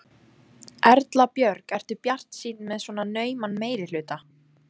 Erla Björg: Ertu bjartsýnn með svona nauman meirihluta?